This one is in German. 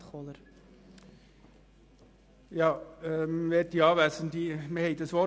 Wir haben über das Wort «grundsätzlich» diskutiert.